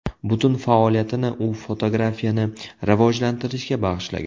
Butun faoliyatini u fotografiyani rivojlantirishga bag‘ishlagan.